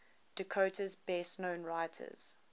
dakota's best known writers